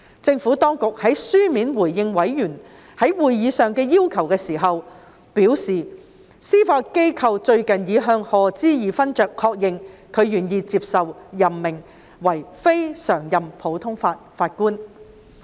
政府當局在書面回應委員在會議上的要求時表示，司法機構最近已向賀知義勳爵確認，他願意接受任命為非常任普通法法官。